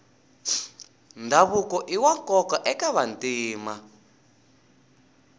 ndhavuko iwa nkoka eka vantima